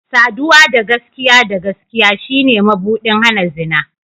Saduwa da gaskiya da gaskiya shine mabuɗin hana zina.